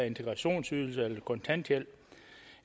integrationsydelse eller kontanthjælp